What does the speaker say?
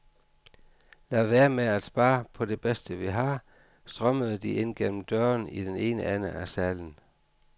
La vær med at spar på det bedste vi har, strømmede de ind gennem døren i den ene ende af salen.